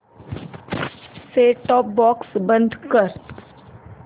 set top box बंद कर